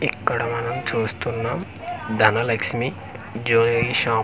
ఇక్కడ మనం చుస్తున్నాం ధనలక్ష్మి జ్యువలరీ షాప్ .